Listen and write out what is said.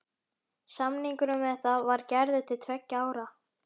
Samningur um þetta var gerður til tveggja ára.